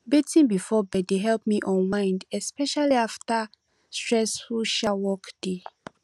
bathing before bed dey help me unwind especially after stressful um workday